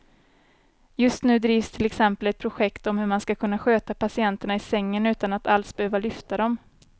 Just nu drivs till exempel ett projekt om hur man ska kunna sköta patienterna i sängen utan att alls behöva lyfta dem.